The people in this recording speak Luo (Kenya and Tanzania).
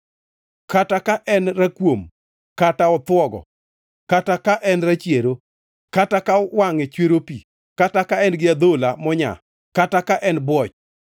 kata ka en rakuom kata othwogo, kata ka en rachiero, kata ka wangʼe chwero pi, kata ka en gi adhola monyaa kata ka en bwoch.